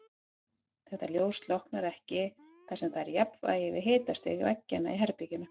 Þetta ljós slokknar ekki þar sem það er í jafnvægi við hitastig veggjanna í herberginu.